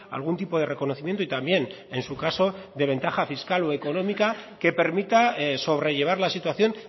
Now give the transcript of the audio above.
algún tipo de reconocimiento y también en su caso de ventaja fiscal o económica que permita sobrellevar la situación